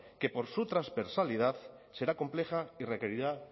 que por su transversalidad será compleja y requerirá